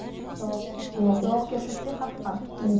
жауап жоқ жауапкершіліктен қашқан иә